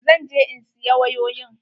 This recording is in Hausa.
Zan je in siya wayoyin.